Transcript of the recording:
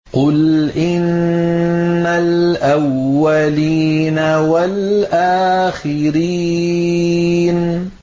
قُلْ إِنَّ الْأَوَّلِينَ وَالْآخِرِينَ